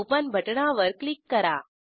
open बटणावर click करा